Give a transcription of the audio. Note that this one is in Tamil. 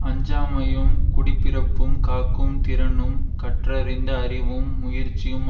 அஞ்சாமையும் குடிபிறப்பும் காக்கும் திறனும் கற்றறிந்த அறிவும் முயற்சியும்